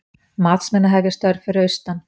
Matsmenn að hefja störf fyrir austan